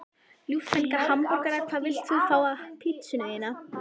Ljúffenga hamborgara Hvað vilt þú fá á pizzuna þína?